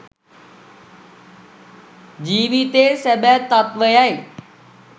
ජීවිතයේ සැබෑ තත්ත්වය යි.